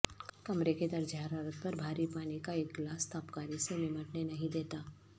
کمرے کے درجہ حرارت پر بھاری پانی کا ایک گلاس تابکاری سے نمٹنے نہیں دیتا